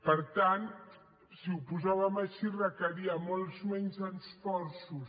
per tant si ho posàvem així requeria molts menys esforços